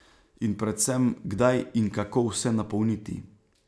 In predvsem, kdaj in kako vse napolniti.